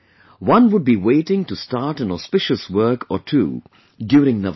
One would be waiting to start an auspicious work or two during Navratri